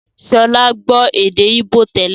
Sọlá gbọ́ èdè íbò tẹ́lẹ̀